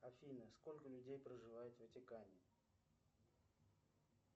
афина сколько людей проживает в ватикане